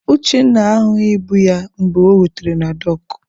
Uchenna ahụghị ibu ya mgbe o rutere na dọọkụ.